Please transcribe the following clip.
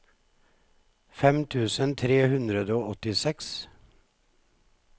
fem tusen tre hundre og åttiseks